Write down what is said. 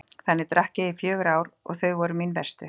Þannig drakk ég í fjögur ár og þau voru mín verstu.